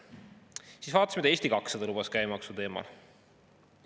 Siis vaatasin, mida Eesti 200 lubas käibemaksu teemal.